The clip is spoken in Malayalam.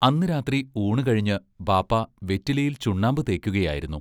അന്നു രാത്രി ഊണു കഴിഞ്ഞ് ബാപ്പാ വെറ്റിലയിൽ ചുണ്ണാമ്പു തേക്കുകയായിരുന്നു.